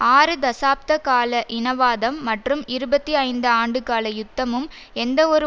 ஆறு தசாப்த கால இனவாதம் மற்றும் இருபத்தி ஐந்து ஆண்டுகால யுத்தமும் எந்தவொரு